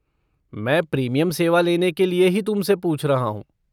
मैं प्रीमियम सेवा लेने के लिए ही तुमसे पूछ रहा हूँ।